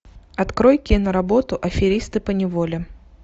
открой киноработу аферисты по неволе